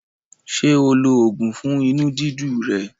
Ṣé o lo oògùn fún inú dídu rẹ̀?